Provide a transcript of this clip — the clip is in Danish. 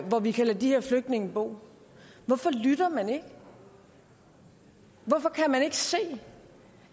hvor vi kan lade de her flygtninge bo hvorfor lytter man ikke hvorfor kan man ikke se